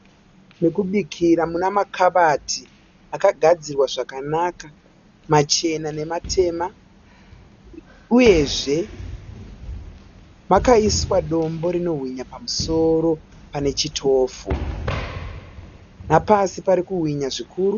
Mokubikira muna makabati akagadzirwa zvakanaka machena nematema uyezve makaiswa dombo rino hwinya pamusoro pane chitofu napasi parikuhwinya zvikuru.